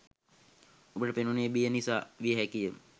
අපට පෙනුනේ බිය නිසා විය හැකි ය.